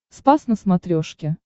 спас на смотрешке